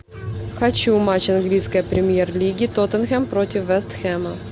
хочу матч английской премьер лиги тоттенхэм против вест хэма